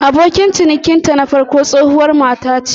Abokin cinikinta na farko tsohuwar mace ce.